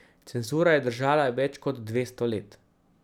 Cenzura je držala več kot dvesto let.